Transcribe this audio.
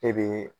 E be